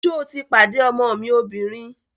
Sọ ti pàdé ọmọ mi obìnrin?